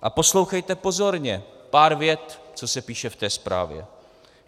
A poslouchejte pozorně pár vět, co se píše v té zprávě: